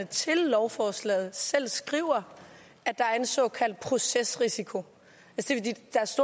til lovforslaget selv skriver at der er en såkaldt procesrisiko